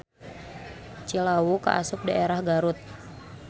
Cilawu kaasup daerah Garut.